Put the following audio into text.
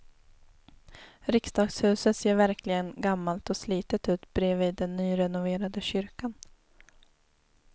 Riksdagshuset ser verkligen gammalt och slitet ut bredvid den nyrenoverade kyrkan.